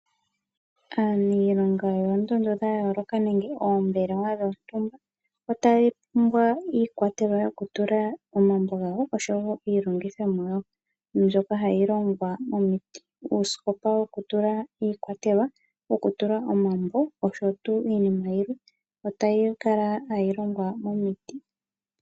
Aaniilonga yoondondo dha yooloka nenge oombelewa dhontumba otaya pumbwa iikwatelwa yokutula omambo gawo, oshowo iilongithomwa yawo, mbyoka hayi longwa miiti. Uusikopa wokutula iikwatelwa, wokutula omambo, oshowo iinima yilwe otayi kala hayi longwa miiti.